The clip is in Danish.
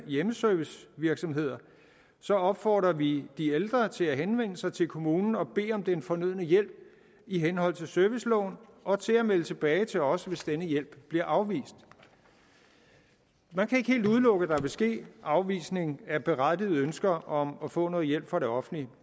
hjemmeservicevirksomheder så opfordrer vi de ældre til at henvende sig til kommunen og bede om den fornødne hjælp i henhold til serviceloven og til at melde tilbage til os hvis denne hjælp bliver afvist man kan ikke helt udelukke at der vil ske afvisning af berettigede ønsker om at få noget hjælp fra det offentlige